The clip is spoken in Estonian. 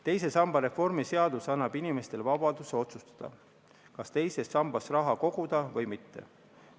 Teise samba reformi seadus annab inimestele vabaduse otsustada, kas teises sambas raha koguda või mitte.